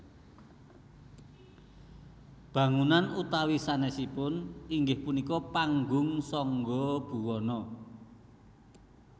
Bangunann utami sanesipun inggih punika Panggung Sangga Buwana